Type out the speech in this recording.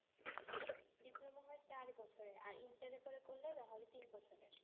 diploma হয় চার বছরের আর intern এর পরে করলে তাহলে হয় তিন বছরের